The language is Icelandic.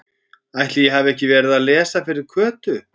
Ætli ég hafi ekki verið að lesa fyrir Kötu.